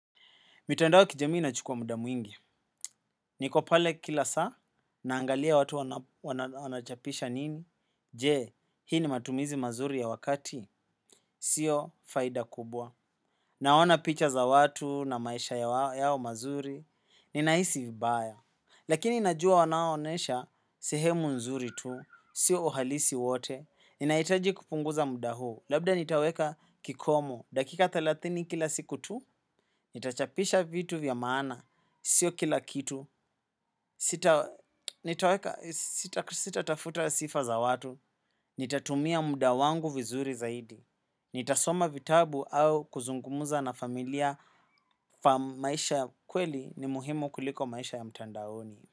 Mitandao kijamii nachukuwa muda mwingi. Niko pale kila saa, naangalia watu wanachapisha nini. Je, hii ni matumizi mazuri ya wakati. Sio faida kubwa. Naona picha za watu na maisha yao mazuri. Ninahisi vibaya. Lakini najua wanaonesha, sehemu nzuri tu. Sio uhalisi wote. Ninahitaji kupunguza muda huu. Labda nitaweka kikomo. Dakika thelathini kila siku tu, nitachapisha vitu vya maana. Sio kila kitu, sitatafuta sifa za watu, nitatumia muda wangu vizuri zaidi, nitasoma vitabu au kuzungumuza na familia maisha kweli ni muhimu kuliko maisha ya mtandaoni.